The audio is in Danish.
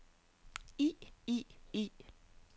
i i i